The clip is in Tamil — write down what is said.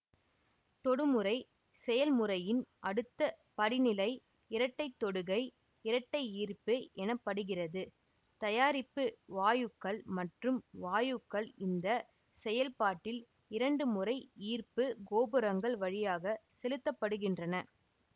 தொடு முறை செயல்முறையின் அடுத்த படிநிலை இரட்டைத்தொடுகை இரட்டையீர்ப்பு எனப்படுகிறது தயாரிப்பு வாயுக்கள் மற்றும் வாயுக்கள் இந்த செயல்பாட்டில் இரண்டு முறை ஈர்ப்பு கோபுரங்கள் வழியாக செலுத்தப்படுகின்றன